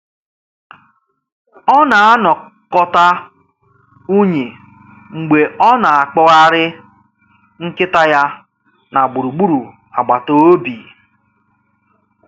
Ọ na-anakọta unyi mgbe ọ na-akpọgharị nkịta ya na gburugburu agbata obi.